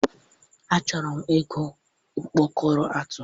Achọrọ m ịkụ ọkpọkọrọ atụ.